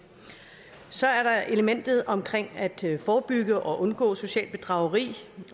så er der elementet om at forebygge og undgå socialt bedrageri